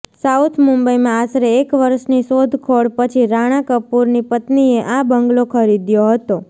south મુંબઈમાં આશરે એક વર્ષની શોધખોળ પછી રાણા કપૂરની પત્નીએ આ બંગલો ખરીદ્યો હતો